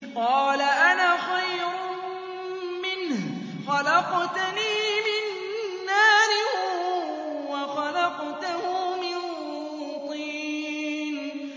قَالَ أَنَا خَيْرٌ مِّنْهُ ۖ خَلَقْتَنِي مِن نَّارٍ وَخَلَقْتَهُ مِن طِينٍ